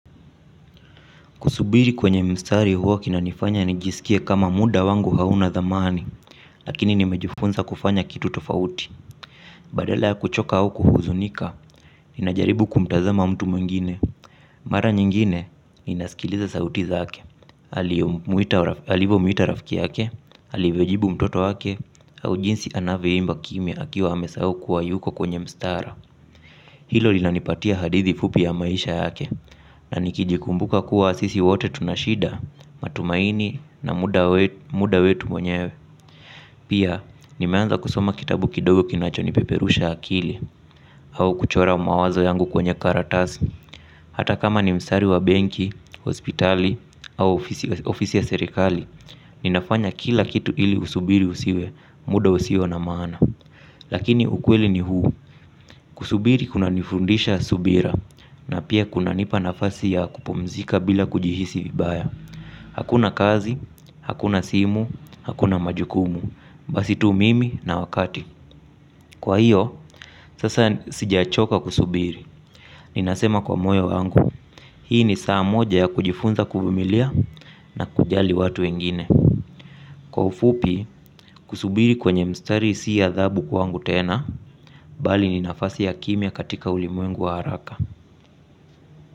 Kusubiri kwenye mstari huwa kinanifanya nijiskie kama muda wangu hauna dhamani lakini nimejifunza kufanya kitu tofauti. Badala ya kuchoka au kuhuzunika, ninajaribu kumtazama mtu mwingine. Mara nyingine, ninasikiliza sauti zake aliyemwita alivo mwita rafiki yake, alivyojibu mtoto yake, au jinsi anavyoimba kimya akiwa amesahau kuwa yuko kwenye mstara. Hilo lila nipatia hadithi fupi ya maisha yake na nikijikumbuka kuwa sisi wote tunashida matumaini na muda wetu mwenyewe. Pia nimeanza kusoma kitabu kidogo kinacho nipeperusha akili au kuchora mawazo yangu kwenye karatasi. Hata kama ni mstari wa benki, hospitali au ofisi ya serikali ninafanya kila kitu ili usubiri usiwe muda usio na maana lakini ukweli ni huu kusubiri kunanifunza subira na pia kuna nipa nafasi ya kupumzika bila kujihisi vibaya. Hakuna kazi, hakuna simu, hakuna majukumu, basi tu mimi na wakati kwa hiyo, sasa sijachoka kusubiri, ninasema kwa moyo wangu, hii ni saa moja ya kujifunza kuvumilia na kujali watu wengine. Kwa ufupi, kusubiri kwenye mstari si adhabu kwa wangu tena, bali ni nafasi ya kimya katika ulimwengu wa haraka.